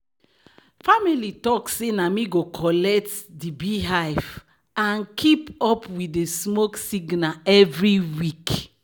"family talk say na me go collect di beehive and keep up with di smoke signal every week."